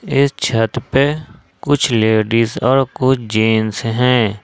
इस छत पे कुछ लेडीज और कुछ जेंस है।